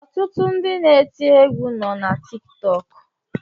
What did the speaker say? Ọtụtụ ndị na-eti égwu nọ na Tiktọk